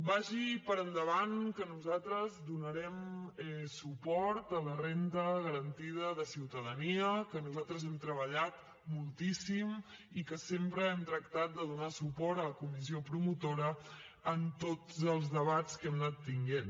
vagi per endavant que nosaltres donarem suport a la renda garantida de ciutadania que nosaltres hem treballat moltíssim i que sempre hem tractat de donar suport a la comissió promotora en tots els debats que hem anat tenint